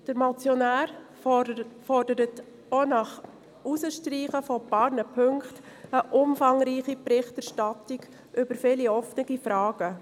Der Motionär fordert auch nach Streichung einiger Punkte eine umfangreiche Berichterstattung über viele offene Fragen.